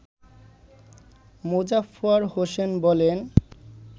মোজাফফর হোসেন বলেন